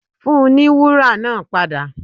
Fùn ní wùra naa pada!